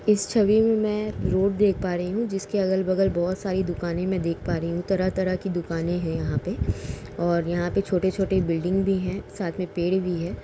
इस छवि मे मैं रोड देख पा रही हूँ। जिसके अगल बगल बहुत सारी दुकानें मैं देख पा रही हूँ। तरह-तरह की दुकान है यहाँ पे और यहाँ पे छोटे छोटे बिल्डिंग भी हैं। साथ मे पेड़ भी है।